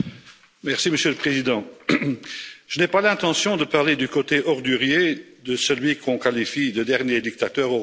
Monsieur le Président, je n'ai pas l'intention de parler du côté ordurier de celui qu'on qualifie de dernier dictateur européen.